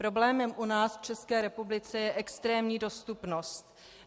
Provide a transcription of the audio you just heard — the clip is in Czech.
Problémem u nás v České republice je extrémní dostupnost.